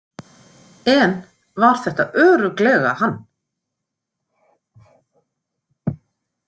En var þetta örugglega hann?